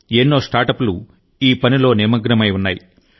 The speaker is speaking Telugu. ఎన్నో స్టార్టప్లు ఈ పనిలో నిమగ్నమై ఉన్నాయి